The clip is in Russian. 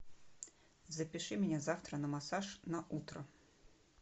запиши меня завтра на массаж на утро